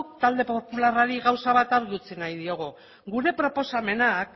talde popularrari gauza bat argi utzi nahi diogu gure proposamenak